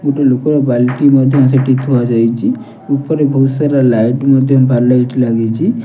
ଗୋଟେ ଲୋକର ବାଇକ୍ ଟି ମଧ୍ୟ ସେଠି ଥୁଆ ଯାଇଚି। ଉପରେ ବହୁତସାରା ଲାଇଟ୍ ମଧ୍ୟ ବାର୍ ଲାଇଟ୍ ଲାଗିଚି।